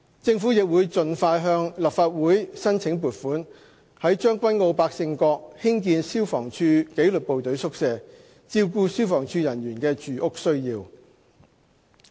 政府亦會盡快向立法會申請撥款，在將軍澳百勝角興建消防處紀律部隊宿舍，照顧消防處人員的住屋需要。